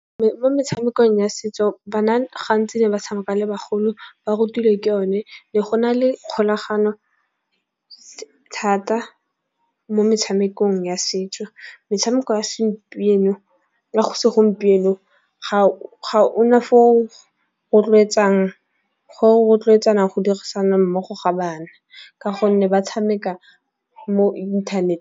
Mo metshamekong ya setso bana gantsi ne ba tshameka le bagolo ba rutilwe ke one, ne go na le kgolagano thata mo metshamekong ya setso. Metshameko ya se segompieno ga o na fa o rotloetsang, ga o rotloetsana go dirisana mmogo ga bana. Ka gonne ba tshameka mo internet.